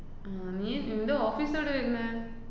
ആഹ് നീ നിന്‍റെ office ഏടെയാ വരുന്നെ?